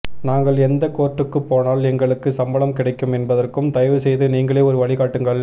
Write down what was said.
நாங்கள் எந்த கோர்ட்டுக்குப் போனால் எங்களுக்கு சம்பளம் கிடைக்கும் என்பதற்கும் தயவு செய்து நீங்களே ஒரு வழி காட்டுங்கள்